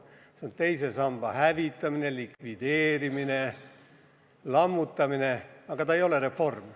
See on teise samba hävitamine, likvideerimine, lammutamine, mitte reform.